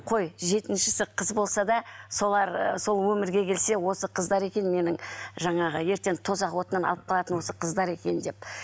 қой жетінсіші қыз болса да солар ы сол өмірге келсе осы қыздар екен менің жаңағы ертең тозақ отынан алып қалатын осы қыздар екен деп